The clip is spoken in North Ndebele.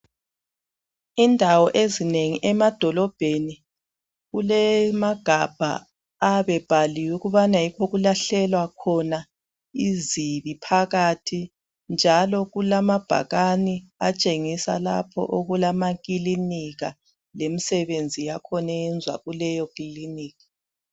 Indawo ezinengi emadolobheni kulamagabha , ayabe ebhaliwe ukubana yikho okukahlekwa khona izibi phakathi njalo kulamabhakani atshenhisa ikuba kulama ekilinika lemisebenzi kakhona eyenziwa kuleyo kiliniki.